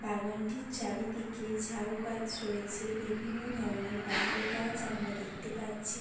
বাগানটির চারিদিকে ঝাউ গাছ রয়েছে। বিভিন্ন ধরনের বাহারি গাছ আমরা দেখতে পাচ্ছি ।